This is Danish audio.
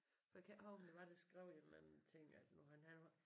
For jeg kan ikke huske hvem det var der skrev i mange ting at nu han han var